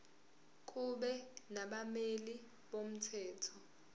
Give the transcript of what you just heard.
kube nabameli bomthetho